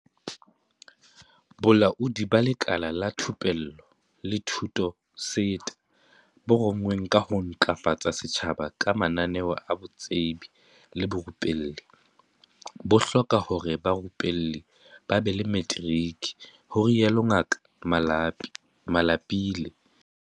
Bolaodi ba Lekala la Thupello le Thuto SETA, bo rongweng ka ho ntlafatsa setjhaba ka mananeo a botsebi le borupelli, bo hloka hore barupellwi ba be le materiki, ho rialo Ngaka Malapile.